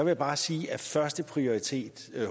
jeg bare sige at førsteprioriteten